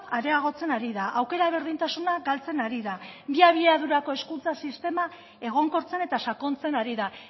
areagotzen ari da aukera berdintasuna galtzen ari da bi abiadurako hezkuntza sistema egonkortzen eta sakontzen ari da